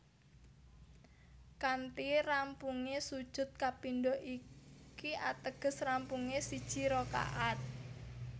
Kanthi rampungé sujud kapindho iki ateges rampungé siji rakaat